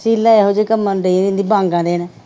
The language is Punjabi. ਸ਼ੀਲਾ ਇਹੋ ਜਿਹੇ ਕੰਮਾਂ ਨੂੰ ਡੇਣ ਡੀ ਵਾਂਗਾਂ ਦੇਣ